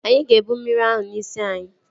Anyị ga-ebụ mmiri ahụ n'isi anyị